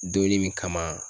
Donnin min kama